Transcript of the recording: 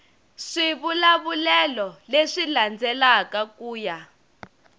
swivulavulelo leswi landzelaka ku ya